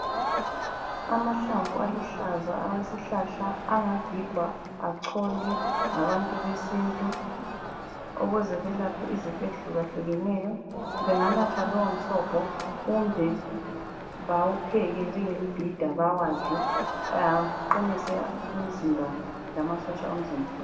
Amahlamvu aluhlaza awesihlahla, angagigwa acholwe ngabantu besintu ukuze belaphe izifo ezihlukahlukeneyo. Benganatha lowo msobho kumbe bawupheke njengembhida bawadle aqinise umzimba lamasotsha omzimba.